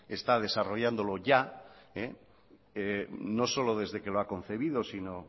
está desarrollándolo ya no solo desde que lo ha concebido sino